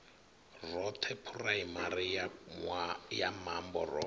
roṱhe phuraimari ya mambo ro